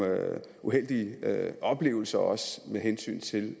uheldige oplevelser også med hensyn til